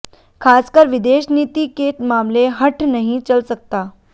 खासकर विदेश नीति के मामले में हठ नहीं चल सकता